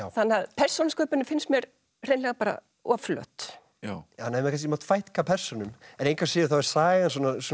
þannig að persónusköpunin finnst mér hreinlega of flöt hann hefði kannski mátt fækka persónum en engu að síður þá er sagan